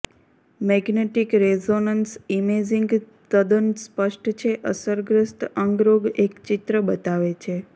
magnetic resonance imaging તદ્દન સ્પષ્ટ છે અસરગ્રસ્ત અંગ રોગ એક ચિત્ર બતાવે છે